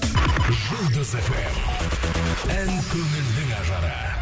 жұлдыз фм ән көңілдің ажары